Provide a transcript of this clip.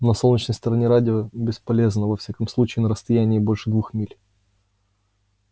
на солнечной стороне радио бесполезно во всяком случае на расстоянии больше двух миль